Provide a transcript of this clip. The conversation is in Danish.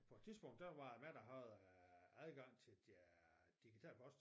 På et tidspunkt der var hvad det hedder adgang til øh digital post